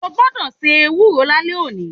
O gbodò se ewúro lálé òní